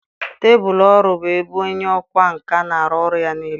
Tebụl ọrụ bụ ebe onye ọkwá nkà na-arụ ọrụ ya niile.